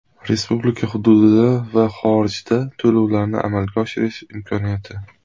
Respublika hududida va xorijda to‘lovlarni amalga oshirish imkoniyati.